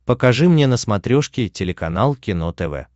покажи мне на смотрешке телеканал кино тв